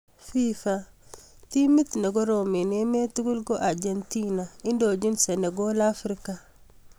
Fifa:timit negorom en emeet tugul ko Argentina indochin senegal Africa